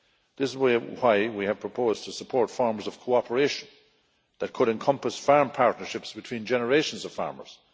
This is why we have proposed to support forms of cooperation that could encompass farm partnerships between generations of farmers